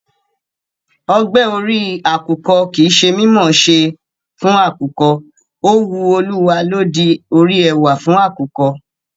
Ogbe orí àkùkọ kì í ṣe mí mọ̀ ọ́n ṣe àkùkọ, ó wu Olúwa ló di orí ẹwà fún àkùkọ.